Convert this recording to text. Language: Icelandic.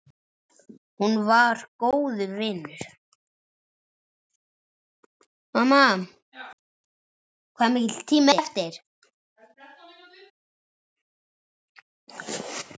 Hún var góður vinur.